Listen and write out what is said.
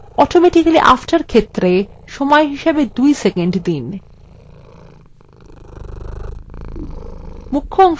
automatically after ক্ষেত্রে সময় হিসাবে 2 সেকন্ড দিন